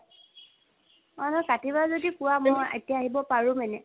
অ, কাটিবা যদি কোৱা মই এতিয়া আহিব পাৰোঁ মানে,